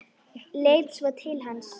Leit svo til hans.